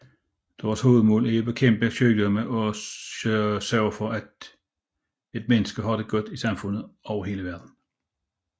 Deres hovedmål er at bekæmpe sygdomme og sørge for at mennesket har det godt i samfund over hele verdenen